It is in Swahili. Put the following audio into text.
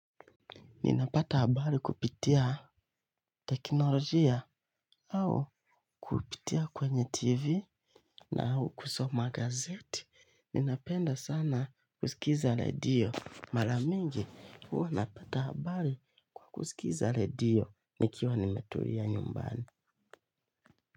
Ninapata abari kupitia teknolojia au kupitia kwenye tv na au kusoma gazeti. Ninapenda sana kusikiza ledio. Maramingi huwa napata abari kusikiza ledio nikiwa nimetulia nyumbani.